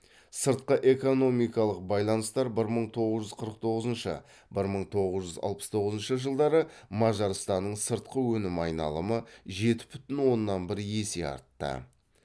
сыртқы экономикалық байланыстар бір мың тоғыз жүз қырық тоғызыншы бір мың тоғыз жүз алпыс тоғызыншы жылдары мажарстанның сыртқы өнім айналымы жеті бүтін оннан бір есе артты